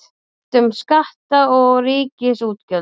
Deilt um skatta og ríkisútgjöld